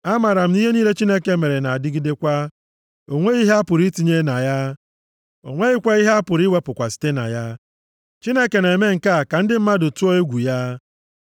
Amaara m na ihe niile Chineke mere na-adịgidekwa. O nweghị ihe apụrụ itinye na ya, o nweghịkwa ihe apụrụ iwepụkwa site na ya. Chineke na-eme nke a ka ndị mmadụ tụọ egwu ya.